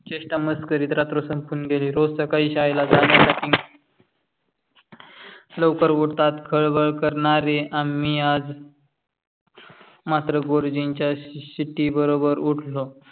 चेष्टा मस्करीत रात्र संपून गेली. रोज सकाळी शाळेला जण्या साथी लवकर उठतात. खळबळ करणारे आम्ही आज मात्र गुरुजींची शिट्टी बरोबर उठलो.